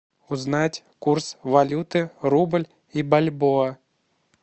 узнать курс валюты рубль и бальбоа